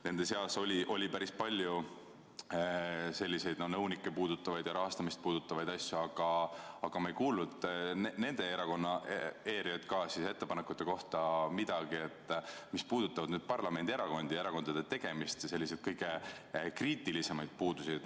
Nende seas oli päris palju selliseid nõunikke puudutavaid ja rahastamist puudutavaid asju, aga me ei kuulnud midagi nende ERJK ettepanekute kohta, mis puudutavad parlamendierakondi, erakondade tegemisi ja selliseid kõige kriitilisemaid puudusi.